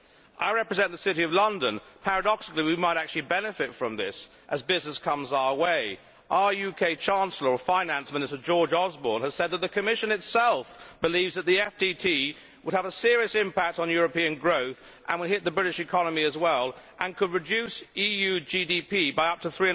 I represent the City of London paradoxically, we might actually benefit from this, as business comes our way. Our UK Chancellor and Finance Minister, George Osborne, has said that the Commission itself believes the FTT would have a serious impact on European growth, hit the British economy as well, and could reduce EU GDP by up to